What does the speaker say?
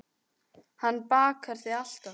Hann bakar þig alltaf.